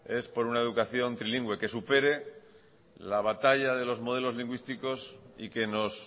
es por una educación trilingüe que supere la batalla de los modelos lingüísticos y que nos